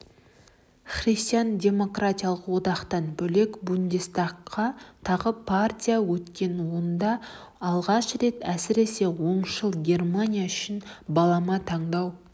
христиан-демократиялық одақтан бөлек бундестагқа тағы партия өткен онда алғаш рет әсіре оңшыл германия үшін балама таңдау